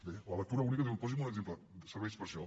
bé la lectura única diu posi’m un exemple serveix per a això